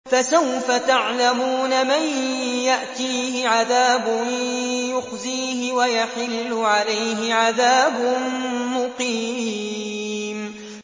فَسَوْفَ تَعْلَمُونَ مَن يَأْتِيهِ عَذَابٌ يُخْزِيهِ وَيَحِلُّ عَلَيْهِ عَذَابٌ مُّقِيمٌ